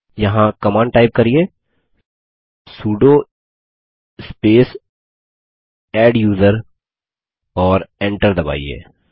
यहाँ command type करिये sudo space adduser और Enter दबाइए